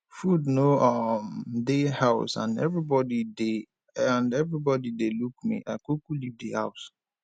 food no um dey house and everybody dey and everybody dey look me i kuku leave di house